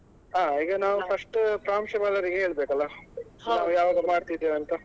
ಹಾ ಈಗ ನಾವು first ಪ್ರಾಂಶುಪಾಲರಿಗೆ ಹೇಳ್ಬೇಕಲ್ಲ ಯಾವಾಗ ಮಾಡ್ತಿದ್ದೇವೆ ಅಂತ.